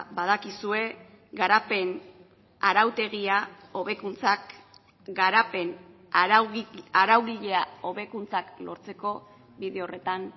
badakizue garapen arautegia hobekuntzak garapen araugilea hobekuntzak lortzeko bide horretan